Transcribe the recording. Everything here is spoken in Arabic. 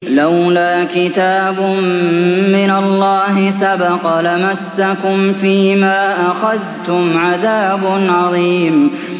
لَّوْلَا كِتَابٌ مِّنَ اللَّهِ سَبَقَ لَمَسَّكُمْ فِيمَا أَخَذْتُمْ عَذَابٌ عَظِيمٌ